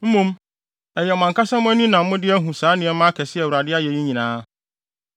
Mmom, ɛyɛ mo ankasa mo ani na mode ahu saa nneɛma akɛse a Awurade ayɛ yi nyinaa.